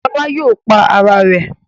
Lola yóò pá Àrà rẹ̀.